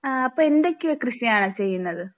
അപ്പോൾ എന്തൊക്കെയോ കൃഷിയാണ് ചെയ്യുന്നത്.